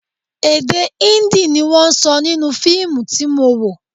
Èdè Hindi ni wọ́n sọ nínú fíìmù tí mo wò